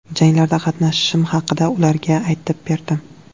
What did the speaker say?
Janglarda qatnashishim haqida ularga aytib berdim.